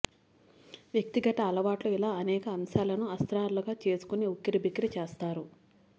వ్యక్తి గత అలవాట్లుఇలా అనేక అంశాలను అస్త్రా లుగా చేసు కునిఉక్కిరి బిక్కిరి చేస్తారు